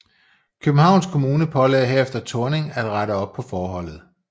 Københavns Kommune pålagde herefter Thorning at rette op på forholdet